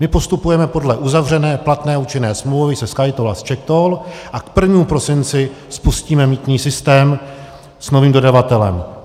My postupujeme podle uzavřené platné účinné smlouvy se SkyToll a s CzechToll a k 1. prosinci spustíme mýtný systém s novým dodavatelem.